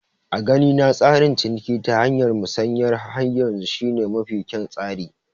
A ganina tsarin ciniki ta hanyar Musanya har yanzu shi ne mafi kyan tsari